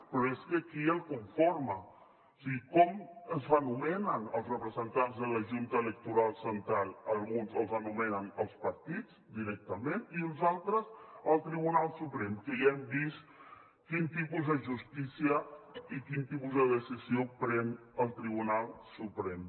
però és que qui el conforma o sigui com es nomenen els representants de la junta electoral central alguns els nomenen els partits directament i uns altres el tribunal suprem que ja hem vist quin tipus de justícia i quin tipus de decisió pren el tribunal suprem